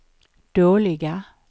dåliga